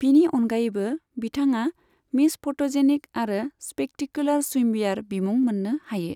बिनि अनगायैबो, बिथाङा मिस फट'जेनिक आरो स्पेक्टेकुलार स्विमवियार बिमुं मोननो हायो।